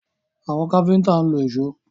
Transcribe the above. Àwọn káfíńtà ń lo ìṣó.